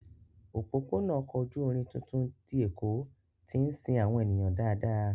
Òpópónà ọkọ̀ ojú irin tuntun ti Èkó tí ń sin àwọn ènìyàn dáadáa